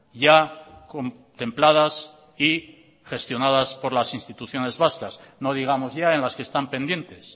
ya contempladas y gestionadas por las instituciones vascas no digamos ya en las que están pendientes